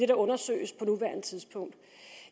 der undersøges på nuværende tidspunkt